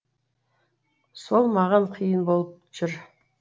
сол маған қиын болып жүр